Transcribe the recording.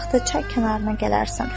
Axşam vaxtı çay kənarına gələrsən.